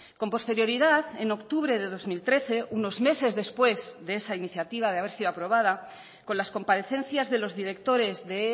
con posterioridad en octubre de dos mil trece unos meses después de esa iniciativa de haber sido aprobada con las comparecencias de los directores de